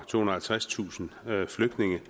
halvtredstusind flygtninge